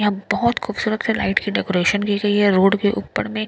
यहाँ बहुत खूबसूरत से लाइट की डेकोरेशन की गई हैं रोड के ऊपर में --